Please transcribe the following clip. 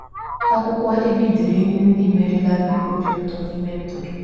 Akwụkwọ ebe i dere ihe ndị merela gị obi ụtọ n’ime ndụ gị